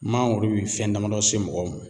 Mangoro bi fɛn damadɔ se mɔgɔ mɔ.